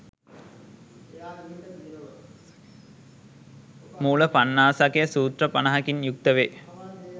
මූල පණ්ණාසකය සූත්‍ර 50 කින් යුක්ත වේ.